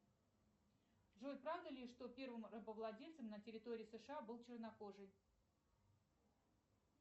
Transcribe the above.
джой правда ли что первым рабовладельцем на территории сша был чернокожий